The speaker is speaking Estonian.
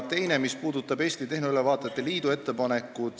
Teine muudatusettepanek lähtub Eesti Tehnoülevaatajate Liidu ettepanekust.